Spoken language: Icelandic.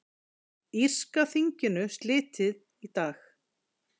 Írska þinginu slitið í dag